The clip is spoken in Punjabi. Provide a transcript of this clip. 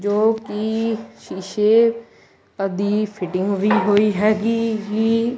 ਜੋ ਕਿ ਸ਼ੀਸ਼ੇ ਆ ਦੀ ਫਿਟਿੰਗ ਹੋਈ ਹੁਈ ਹੈਗੀ ਜੀ।